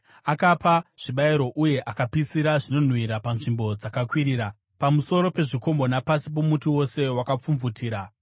Akapa zvibayiro uye akapisira zvinonhuhwira panzvimbo dzakakwirira, pamusoro pezvikomo napasi pomuti wose wakapfumvutira.